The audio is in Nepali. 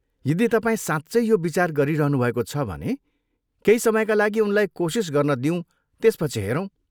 यदि तपाईँ साँच्चै यो विचार गरिरहनु भएको छ भने केही समयका लागि उनलाई कोसिस गर्न दिऊँ त्यसपछि हेरौँ।